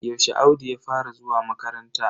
Yaushe Audu ya fara zuwa makaranta?